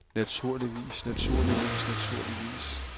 naturligvis naturligvis naturligvis